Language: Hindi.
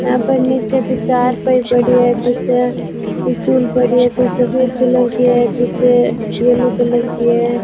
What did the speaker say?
यहां पर नीचे कुछ चारपाई पड़ी है कुछ स्टूल पड़ी है कुछ सफेद कलर की है कुछ येलो कलर की है।